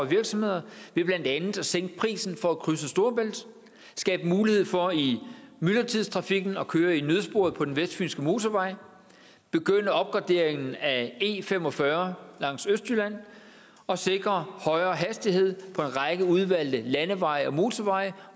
virksomheder ved blandt andet at sænke prisen for at krydse storebælt skabe mulighed for i myldretidstrafikken at køre i nødsporet på den vestfynske motorvej begynde opgraderingen af e45 langs østjylland og sikre højere hastighed på en række udvalgte landeveje og motorveje